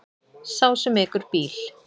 Sá sem ekur bíl.